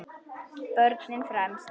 Börnin fremst.